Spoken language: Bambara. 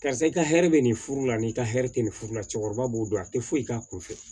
Karisa i ka hɛrɛ bɛ nin furu la ni i ka hɛrɛ tɛ nin furu la cɛkɔrɔba b'o dɔn a tɛ foyi k'a kun fɛ